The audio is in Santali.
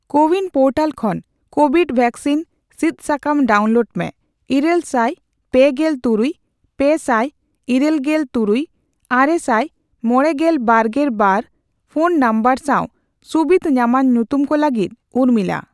ᱠᱳᱼᱣᱤᱱ ᱯᱳᱨᱴᱟᱞ ᱠᱷᱚᱱ ᱠᱳᱣᱤᱰ ᱣᱮᱠᱥᱤᱱ ᱥᱤᱫ ᱥᱟᱠᱟᱢ ᱰᱟᱣᱩᱱᱞᱳᱰ ᱢᱮ 83638695022 ᱤᱨᱟᱹᱞ ᱥᱟᱭ ᱯᱮᱜᱮᱞ ᱛᱩᱨᱩᱭ ,ᱯᱮᱥᱟᱭ ᱤᱨᱟᱹᱞ ᱜᱮᱞ ᱛᱩᱨᱩᱭ ᱟᱨᱮᱥᱟᱭ ᱢᱚᱲᱮ ᱜᱮᱞ ᱵᱟᱨᱜᱮᱞ ᱵᱟᱨ ᱯᱷᱚᱱ ᱱᱚᱢᱵᱚᱨ ᱥᱟᱣ ᱥᱩᱵᱤᱫᱷ ᱧᱟᱢᱟᱱ ᱧᱩᱛᱩᱢ ᱠᱚ ᱞᱟᱹᱜᱤᱫ ᱩᱨᱢᱤᱞᱟ ᱾